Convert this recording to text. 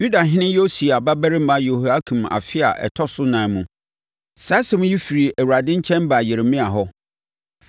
Yudahene Yosia babarima Yehoiakim afe a ɛtɔ so ɛnan mu, saa asɛm yi firi Awurade nkyɛn baa Yeremia hɔ,